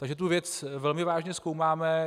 Takže tu věc velmi vážně zkoumáme.